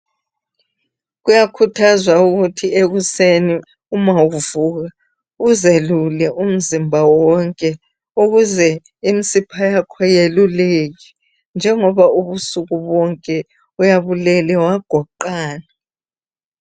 Kuyakhuthazwa ukuthi ekuseni ma kuvukwa uzelule umzimba wonke ukuze imsipha yakho yeluleke njengoba ubusuku bonke uyabe ulele wagoqana.